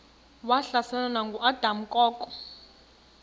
wahlaselwa nanguadam kok